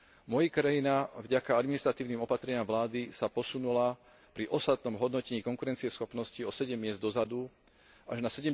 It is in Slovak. Moja krajina vďaka administratívnym opatreniam vlády sa posunula pri ostatnom hodnotení konkurencieschopnosti o sedem miest dozadu až na